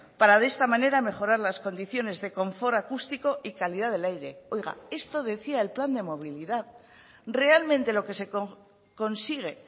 para de esta manera mejorar las condiciones de confort acústico y calidad del aire oiga esto decía el plan de movilidad realmente lo que se consigue